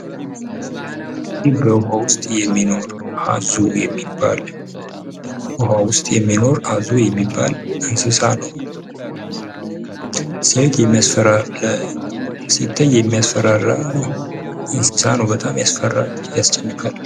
ይህ በውሃ ውስጥ የሚኖር አዞ የሚባል ። በውሃ ውስጥ የሚኖር አዞ የሚባል እንስሳ ነው ። ሲታይ የሚያስፈራራ እንስሳ ነው በጣም ያስፈራል ያስጨንቃል።